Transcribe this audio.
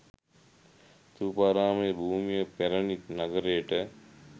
ථූපාරාම භූමිය පැරණි නගරයට